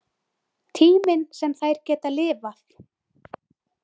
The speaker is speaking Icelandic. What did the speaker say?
Tíminn sem þær geta lifað.